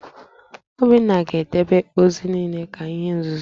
Obinna ga-edebe ozi niile ka ihe nzuzo!